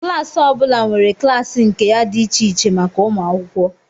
Klas ọ bụla nwere klaasị nke ya dị iche iche maka ụmụ akwụkwọ